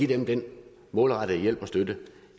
give dem den målrettede hjælp og støtte